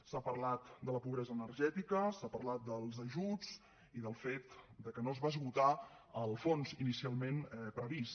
s’ha parlat de la pobresa energètica s’ha parlat dels ajuts i del fet que no es va esgotar el fons inicialment previst